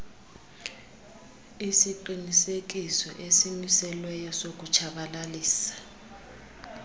isiqinisekiso esimiselweyo sokutshabalalisa